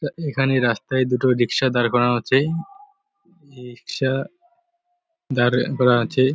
এখানে রাস্তায় দুটো রিকশা দাঁড় করানো আছে | এ রিকশা দাড় করা আছে ।